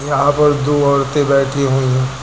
यहां पर दो औरतें बैठी हुई है।